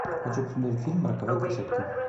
хочу посмотреть фильм роковая красотка